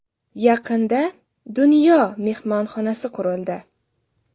Yaqinda ‘Dunyo‘ mehmonxonasi qurildi.